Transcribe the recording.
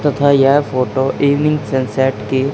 तथा यह photo evening sunset --